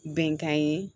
Bɛnkan ye